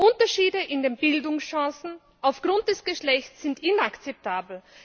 Unterschiede in den Bildungschancen aufgrund des Geschlechts sind inakzeptabel.